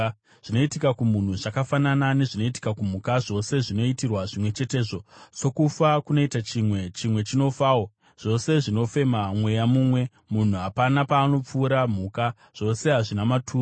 Zvinoitika kumunhu zvakafanana nezvinoitika kumhuka; zvose zvinoitirwa zvimwe chetezvo: sokufa kunoita chimwe, chimwe chinofawo. Zvose zvinofema mweya mumwe; munhu hapana paanopfuura mhuka. Zvose hazvina maturo.